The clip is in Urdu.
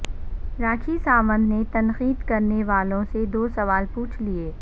راکھی ساونت نے تنقید کرنے والوں سے دو سوال پوچھ لیے